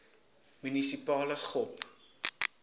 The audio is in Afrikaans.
munisipale gop